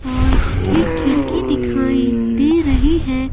और एक खिड़की दिखाई दे रही है।